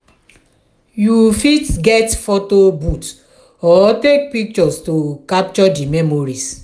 you fit get photo booth or take pictures to capture di memories.